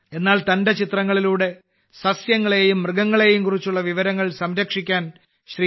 എന്നാൽ തന്റെ ചിത്രങ്ങളിലൂടെ സസ്യങ്ങളെയും മൃഗങ്ങളെയും കുറിച്ചുള്ള വിവരങ്ങൾ സംരക്ഷിക്കാൻ ശ്രീ